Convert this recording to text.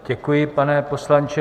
Děkuji, pane poslanče.